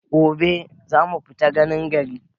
Gobe za mu fita ganin gari.